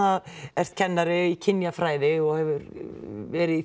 ert kennari í kynjafræði og hefur verið í